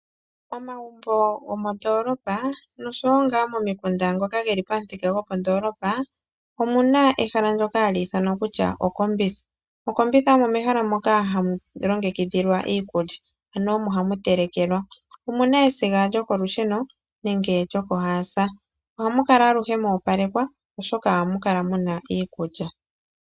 Omagumbo gomondoolopa nosho wo ngaa momikunda ngoka geli pamuthika gopandoolopa, omu na ehala ndyoka hali ithanwa kutya 'okombitha'. Okombitha omo mehala moka ha mu longekidhilwa iikulya, ano omo ha mu telekelwa. Omu na esiga lyokolusheno nenge lyokohaasa. Oha mu kala aluhe mwa opalekwa oshoka oha mu kala mu na iikulya.